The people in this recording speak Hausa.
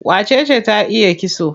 Wacece ta iya kitso?